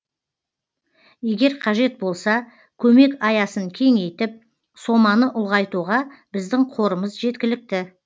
егер қажет болса көмек аясын кеңейтіп соманы ұлғайтуға біздің қорымыз жеткілікті